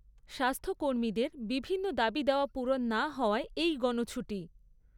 স্বাস্থ্য কর্মীদের বিভিন্ন দাবি দাওয়া পূরণ না হওয়ায় এই গণছুটি।